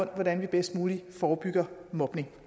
hvordan man bedst muligt forebygger mobning